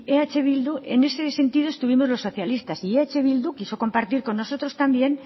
eh bildu en este sentido estuvimos los socialistas y eh bildu quiso compartir con nosotros también